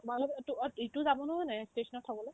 মানে তোক অত এইটো যাব নহয় এ station ত থ'বলে